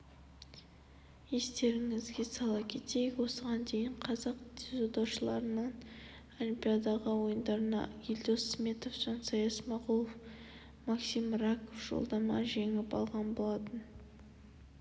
естеріңізге сала кетейік осыған дейін қазақ дзюдошыларынан олимпиада ойындарына елдос сметов жансай смағұлов максим раков жолдама жеңіп алған болатын